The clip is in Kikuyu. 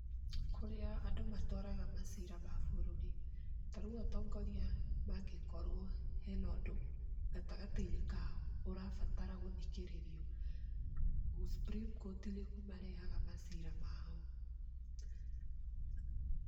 Kũrĩa andũ matwaraga macira ma bũrũri. Tarĩũ atongoria mangikorwo hena ũndũ gatagatĩ-inĩ kao ũrabatara gũthikĩrĩrio, Supreme court nĩkuo marehaga macira mao.